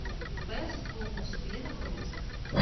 бэс тумус где находится